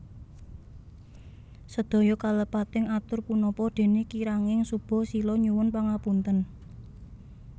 Sedaya kalepataning atur punapa dene kiranging suba sila nyuwun pangapunten